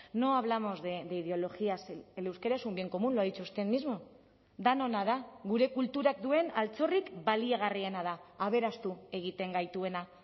no hablamos de ideologías el euskera es un bien común lo ha dicho usted mismo denona da gure kulturak duen altxorrik baliagarriena da aberastu egiten gaituena